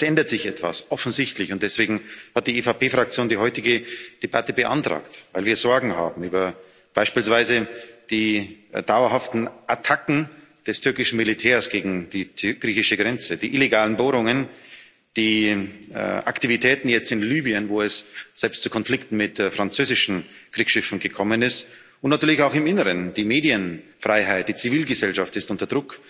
Aber es ändert sich etwas offensichtlich und deswegen hat die EVP Fraktion die heutige Debatte beantragt, weil wir Sorgen haben, beispielsweise die dauerhaften Attacken des türkischen Militärs gegen die griechische Grenze, die illegalen Bohrungen, die Aktivitäten jetzt in Libyen, wo es selbst zu Konflikten mit französischen Kriegsschiffen gekommen ist, und natürlich auch im Inneren die Medienfreiheit, die Zivilgesellschaft ist unter Druck,